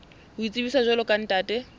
ho itsebisa jwalo ka ntate